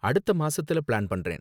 அடுத்த மாசத்துல பிளான் பண்றேன்.